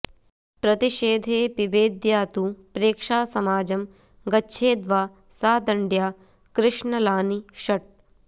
प्रतिषेधे पिबेद्या तु प्रेक्षासमाजं गच्छेद्वा सा दण्ड्या कृष्णलानि षट्